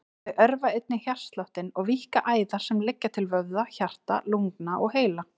Þau örva einnig hjartsláttinn og víkka æðar sem liggja til vöðva, hjarta, lungna og heila.